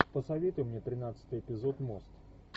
посоветуй мне тринадцатый эпизод мост